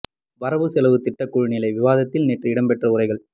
வரவு செலவு திட்ட குழு நிலை விவாதத்தில் நேற்று இடம்பெற்ற உரைகள்